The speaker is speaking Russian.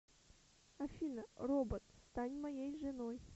афина робот стань моей женой